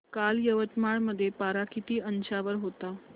काल यवतमाळ मध्ये पारा किती अंशावर होता